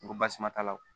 Ko basi suma t'a la o